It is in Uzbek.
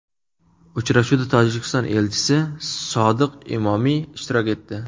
Uchrashuvda Tojikiston elchisi Sodiq Imomi ishtirok etdi.